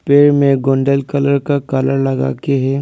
पेड़ में golden colour का कलर लगाकर के है।